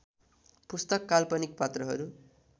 पुस्तक काल्पनिक पात्रहरू